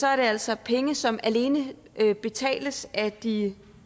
er altså penge som alene betales af de